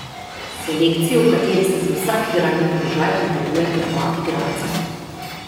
Selekcijo, v kateri se za vsak igralni položaj potegujeta dva igralca.